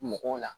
Mɔgɔw la